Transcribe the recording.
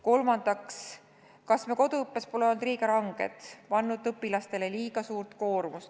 Kolmandaks, kas me pole koduõppes olnud liiga ranged, pannud õpilastele liiga suurt koormust?